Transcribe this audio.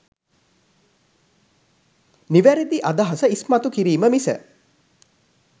නිවැරදි අදහස ඉස්මතු කිරීම මිස